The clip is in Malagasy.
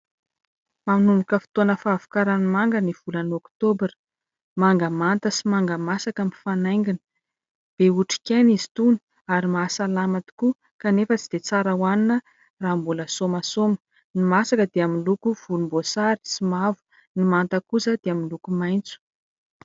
Manomboka fotoana fahavokaran'ny manga ny volana oktobra. Manga manta sy manga masaka mifanaingina. Be otrikaina izy itony ary mahasalama tokoa, kanefa tsy dia tsara hohanina raha mbola sômasôma. Ny masaka dia miloko vonimboasary sy mavo, ny manta kosa dia miloko maintso.